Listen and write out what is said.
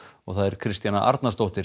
Kristjana Arnarsdóttir